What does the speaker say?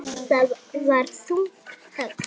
Það var þungt högg.